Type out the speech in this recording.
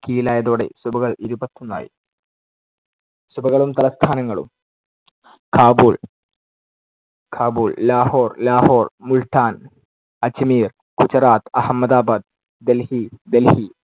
കീഴിലായതോടെ സുബകൾ ഇരുപത്തൊന്നായി. സുബകളും തലസ്ഥാനങ്ങളും. കാബൂൾ കാബൂൾ, ലാഹോർ ലാഹോർ, മുൾട്ടാൻ, അജ്മീർ, ഗുജറാത്ത്, അഹമ്മദാബാദ്, ഡൽഹി ഡൽഹി,